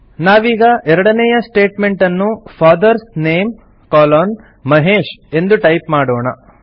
ನಾವೀಗ ಎರಡನೇಯ ಸ್ಟೇಟ್ಮೆಂಟನ್ನು ಫಾದರ್ಸ್ ನೇಮ್ ಕೊಲೊನ್ ಮಹೇಶ್ ಎಂದು ಟೈಪ್ ಮಾಡೋಣ